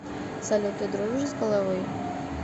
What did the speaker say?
салют ты дружишь с головой